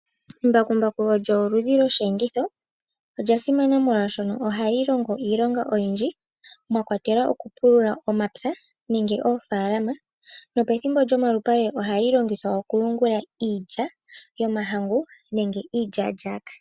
Embakumbaku olyo oludhi lyoshiyenditho. Olyasimana molwaashono ohali longo iilonga oyindji , mwakwatelwa okupulula omapya nenge oofaalama . Nopethimbo lyomalupale ohali longithwa okuyungula iilya yomahangu nenge iilyaalyaaka.